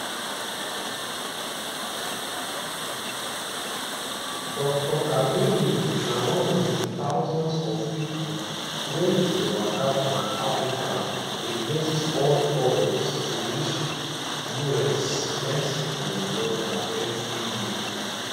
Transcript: dr kaduli na one of di thousands of pipo wey dey waka from africa against all odds to reach di usmexico border evri year